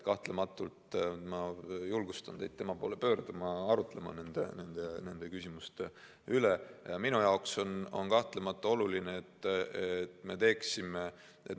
Kahtlematult ma julgustan teid tema poole pöörduma ja arutlema nende küsimuste üle.